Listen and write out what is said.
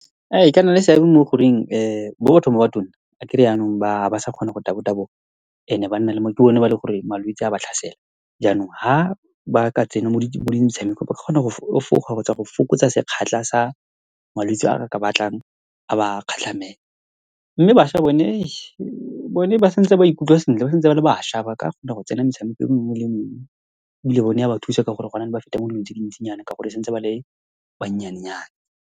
E ka nna le seabe mo goreng mo bathong ba ba tona, akere yanong ba ha ba sa kgona go tabo-taboga, and-e ba nna le mo. Ke bone ba eleng gore malwetse a ba tlhasela. Jaanong, ha ba ka tsena mo di , mo metshamekong, ba kgona go efoga, kgotsa go fokotsa sa malwetse a ka batlang a ba . Mme bašwa bone , bone ba santse ba ikutlwa sentle, ba santse ba le bašwa, ba ka kgona go tsena metshameko o mongwe le o mongwe, ebile bone ya ba thusa ka gore gone jaanong ba feta mo dilong tse dintsinyana, ka gore ba santse ba le bannyanenyana.